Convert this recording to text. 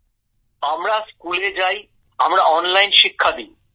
গৌরব আমরা স্কুলে যাই আমরা অনলাইন শিক্ষা দি